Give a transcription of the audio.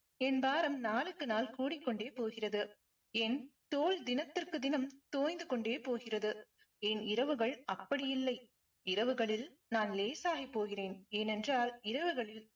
என் பாரம் நாளுக்கு நாள் கூடிக்கொண்டே போகிறது. என் தோல் தினத்திற்கு தினம் தோய்ந்து கொண்டே போகிறது. என் இரவுகள் அப்படி இல்லை. இரவுகளில் நான் லேசாகி போகிறேன். ஏனென்றால் இரவுகளில்